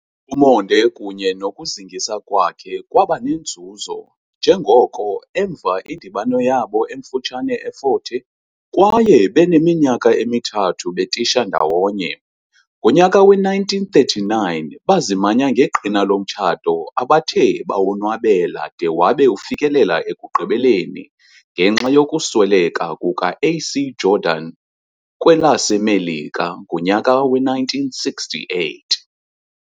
Umonde kunye nokuzingisa kwakhe kwabanenzuzo njengoko emva indibano yabo emfutshane eFort Hare kwaye beneminyaka emithathu betisha ndawonye, ngonyaka we 1939 bazimanya ngeqhina lomtshato abathe bawonwabela de wabe ufikelela ekugqibeleni ngenxa yokusweleka kuka A.C Jordan kwelaseMelika ngonyaka we-1968."